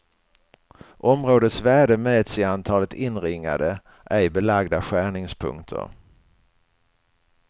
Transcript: Områdets värde mäts i antalet inringade, ej belagda skärningspunkter.